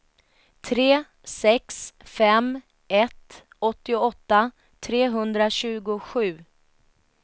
tre sex fem ett åttioåtta trehundratjugosju